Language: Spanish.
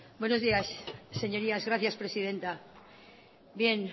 buenos días señorías gracias presidenta bien